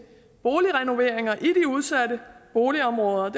boligrenoveringer i de udsatte boligområder at